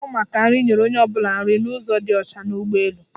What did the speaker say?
Ndi na-áhụ̀ maka nri, nyere onye ọ bụla nri n'ụzo dị ọcha n'ụgbọelu.